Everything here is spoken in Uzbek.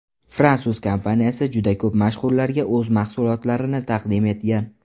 Fransuz kompaniyasi juda ko‘p mashhurlarga o‘z mahsulotlarini taqdim etgan.